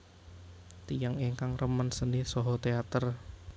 Tiyang ingkang remen seni saha teater